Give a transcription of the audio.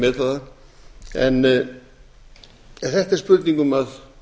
ekki að meta það en þetta er spurning um að